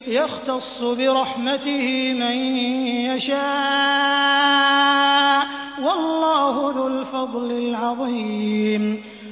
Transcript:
يَخْتَصُّ بِرَحْمَتِهِ مَن يَشَاءُ ۗ وَاللَّهُ ذُو الْفَضْلِ الْعَظِيمِ